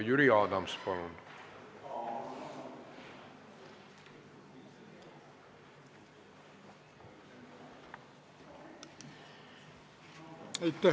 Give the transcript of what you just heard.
Jüri Adams, palun!